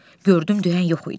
Gördüm deyən yox idi.